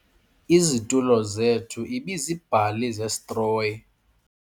Izitulo zethu ibiziibhali zesitroyi.